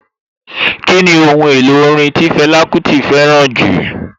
Kíni Ohun èlò orin tí Fẹlá Kúti fẹ́ràn jù?